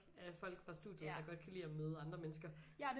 Af folk fra studiet der godt kan lide at møde andre mennesker